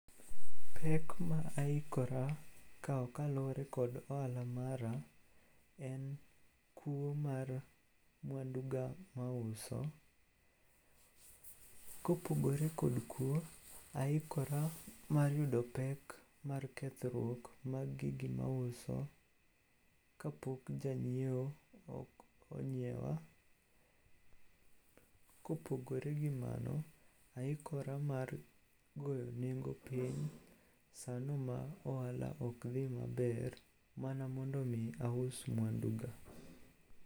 Pek ma aikora kawo kaluwore kod ohala mara en kuo mar mwanduga mauso. Kopogore kod kuo, aikora mar yudo pek mar kethruok mar gigo ma auso kapok janyieo onyiewa. Kopogore gi mano, aikora mar goyo nengo piny sano ma ohala ok dhi maber mana mondo omi aus mwanduga.